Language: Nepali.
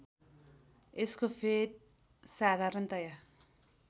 यस्को फेद साधारणतया